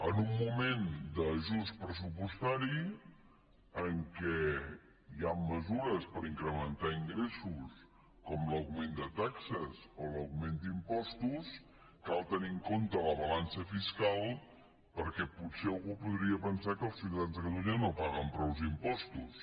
en un moment d’ajust pressupostari en què hi han mesures per incrementar ingressos com l’augment de taxes o l’augment d’impostos cal tenir en compte la balança fiscal perquè potser algú podria pensar que els ciutadans de catalunya no paguen prou impostos